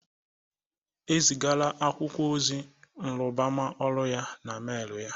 E zigala akwụkwọ ozi nrụbama ọrụ ya na email ya